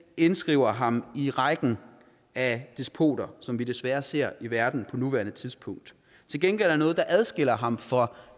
indskriver ham i rækken af despoter som vi desværre ser i verden på nuværende tidspunkt til gengæld er der noget der adskiller ham fra